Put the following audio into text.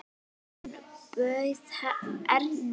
Hann bauð Erni.